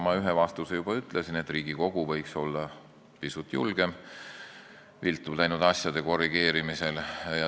Ma ühe vastuse juba ütlesin: Riigikogu võiks olla pisut julgem viltu läinud asjade korrigeerimisel.